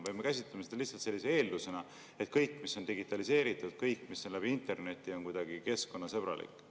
Või me käsitleme seda lihtsalt sellise eeldusena, et kõik, mis on digitaliseeritud, kõik, mis on läbi interneti, on kuidagi keskkonnasõbralik?